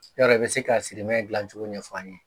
Yɔrɔ i bɛ se ka sirimɛ dilancogo ɲɛfɔ an ye